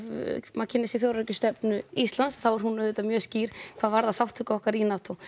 maður kynnir sér þjóðaröryggisstefnu Íslands þá er hún auðvitað mjög skýr hvað varðar þátttöku okkar í NATO